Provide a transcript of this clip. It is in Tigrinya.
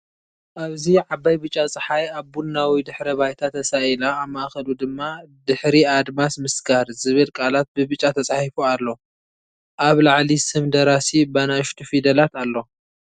ኣብዚ ዓባይ ብጫ ጸሓይ ኣብ ቡናዊ ድሕረ ባይታ ተሳኢላ፣ ኣብ ማእከሉ ድማ ‘ድሕሪ ኣድማስ ምስጋር’ ዝብል ቃላት ብብጫ ተጻሒፉ ኣሎ። ኣብ ላዕሊ ስም ደራሲ ብንኣሽቱ ፊደላት ኣሎ።